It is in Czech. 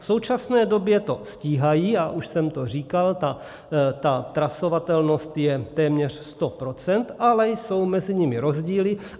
V současné době to stíhají, já už jsem to říkal, ta trasovatelnost je téměř 100 %, ale jsou mezi nimi rozdíly.